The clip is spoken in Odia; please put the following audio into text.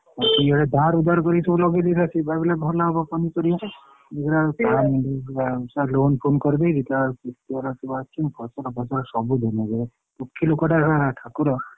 ଧାର ଉଦ୍ଧାର କରିକି ସବୁ ଲଗେଇ ଦେଇଥିଲା ସିଏ ଭାବିଲା ଭଲ ହବ ପନିପରିବା ଦେଖିଲାବେଳକୁ କାନ୍ଦୁଛି ସା loan ଫୋନ କରିଦେଇଛି ଦେଖିଲାବେଳକୁ ସୁଅ ରେ ସବୁ ଭାସି ଫସଲ ଫସଲ ସବୁ ଧୂଳିସାତ ଦୁଖୀ ଲୋକଟା ଶଳା ଠାକୁର।